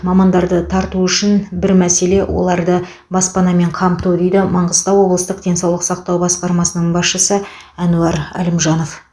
мамандарды тарту үшін бір мәселе оларды баспанамен қамту дейді маңғыстау облыстық денсаулық сақтау басқармасының басшысы әнуар әлімжанов